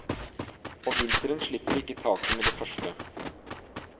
Og vinteren slipper ikke taket med det første.